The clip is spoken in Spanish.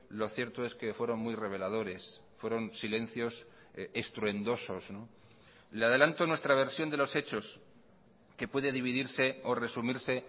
lo cierto es que fueron muy reveladores fueron silencios estruendosos le adelanto nuestra versión de los hechos que puede dividirse o resumirse